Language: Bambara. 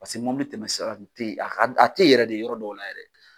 Paseke mobili tɛmɛ sira de tɛ yen ,a ka a tɛ yen yɛrɛ de yɔrɔ dɔw la yɛrɛ